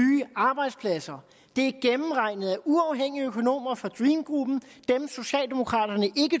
arbejdspladser det er gennemregnet af uafhængige økonomer fra dream gruppen den socialdemokraterne ikke